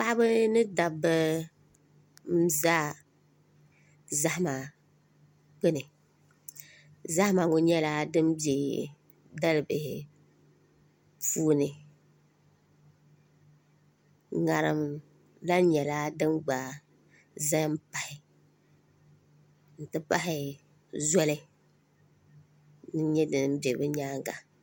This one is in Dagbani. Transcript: Paɣaba ni dabba n ʒɛ zahama gbuni zahama ŋɔ nyɛla din bɛ dalibihi puuni ŋarim lahi nyɛla din gba ʒɛ n pahi n ti pahi zoli n nyɛ din bɛ bi nyaanga